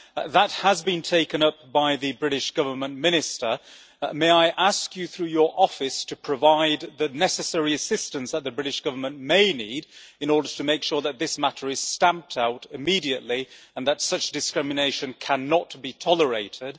This has been taken up by the British Government Minister. May I ask you, through your office, to provide the necessary assistance that the British Government may need in order to make sure that this matter is stamped out immediately and that such discrimination cannot be tolerated?